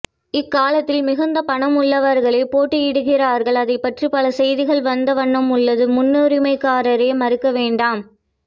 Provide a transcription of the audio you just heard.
இக்காலத்தி்ல் மிகுந்த பணம் உள்ளவர்களே போட்டி இடுகிறார்கள் அதை பற்றி பலசெய்தி்கள் வந்த வண்ணம் உள்ளது மண்ணுரிமைகாரரே மறக்க வேண்டாம்